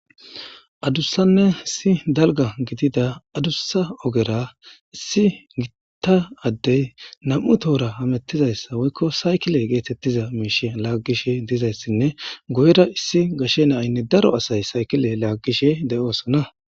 adussanne issi dalga gidida adussa ogera issi gitta addey nam7u tohora hamettizayssa woykko saykile geetettiza miishe laaggishe dizayssinne goyera issi gashe naaynne daro asay saykile laaggishe de7oosona